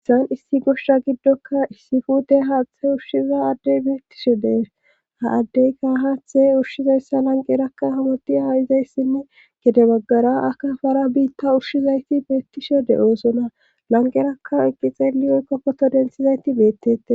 Issan issi goshsha giddoka issi fuute haaththe ushshiza addey biittishe dees ha addeyka haaththe ushshizayssa lanqerakka hamoti a izayssinne gede baggara aka fara biitta ushshizayti beettishe de'oosona lanqerakka eqqi xeeli oykko koto densizayti beettete.